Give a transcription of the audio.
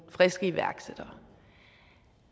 friske iværksættere